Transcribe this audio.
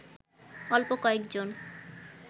অল্প কয়েকজন